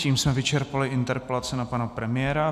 Tím jsme vyčerpali interpelace na pana premiéra.